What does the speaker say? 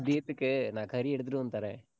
மதியத்துக்கு நான் கறி எடுத்துட்டு வந்து தர்றேன்.